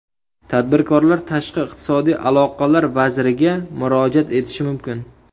Tadbirkorlar Tashqi iqtisodiy aloqalar vaziriga murojaat etishi mumkin.